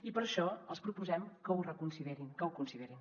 i per això els proposem que ho reconsiderin que ho considerin